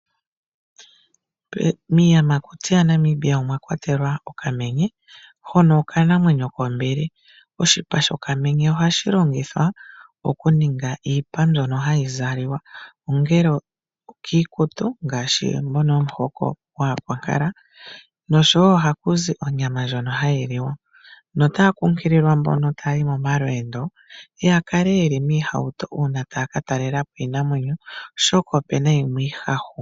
Miiyamakuti yaNamibia omwa kwatelwa okamenye, hono okanamwenyo kombili. Oshipa shokamenye ohashi longithwa okuninga iipa mbyono ha yi zalwa ongele okiikutu ngaashi mbono yomuhoko gwaakwankala. Ohaku zi onyama ndjono hayi liwa. Otaya kunkililwa mbono ta ya yi momalweendo ya kale ye li miihauto uuna ta ya ka talela po iinamwenyo oshoka opu na yimwe iihahu.